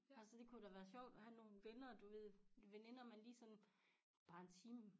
Altså det kunne da være sjovt at have nogen venner du ved veninder man lige sådan bare en time